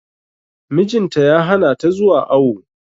Mijin ta ya hana ta zuwa awo.